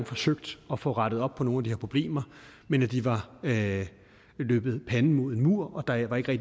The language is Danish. forsøgt at få rettet op på nogle her problemer men at de havde løbet panden mod en mur og at der ikke rigtig